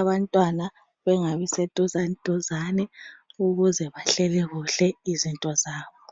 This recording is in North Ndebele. abantwana bengabi seduzaniduzani ukuze bahleke kuhle izinto zabo.